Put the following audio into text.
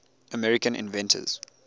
american inventors